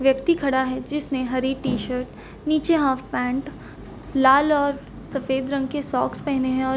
व्यक्ति खड़ा है जिसने हरी टी_शर्ट नीचे हाफ_पैंट स लाल और सफ़ेद रंग के सॉक्स पेहने हैं और --